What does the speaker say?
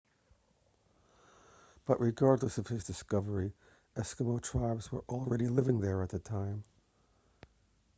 but regardless of his discovery eskimo tribes were already living there at the time